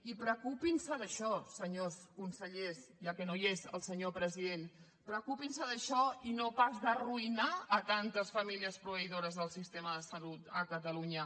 i preocupin se d’això senyors consellers ja que no hi és el senyor president preocupin se d’això i no pas d’arruïnar tantes famílies proveïdores del sistema de salut a catalunya